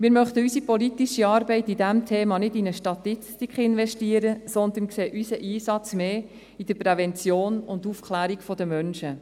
Wir möchten unsere politische Arbeit in diesem Thema nicht in eine Statistik investieren, sondern sehen unseren Einsatz mehr in der Prävention und der Aufklärung der Menschen.